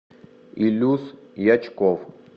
илюс ячков